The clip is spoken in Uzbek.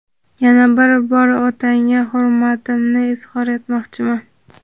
Yana bir bor otangga hurmatimni izhor etmoqchiman.